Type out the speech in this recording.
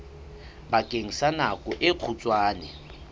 bakeng sa nako e kgutshwane